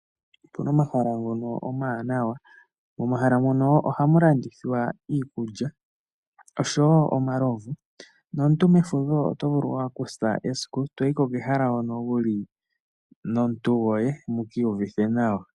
Opu na omahala ngono omawanawa. Momahala mono ohamu landithwa iikulya osho wo omalovu. Nomuntu mefudho to vulu okukutha esiku e to yi kehala hono wu li nomuntu goye mu ka iyuvithe nawa.